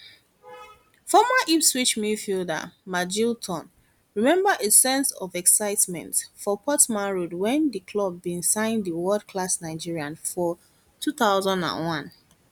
former ipswich midfielder jim magilton remember a sense of excitement for portman road wen di club bin sign di world class nigerian for 2001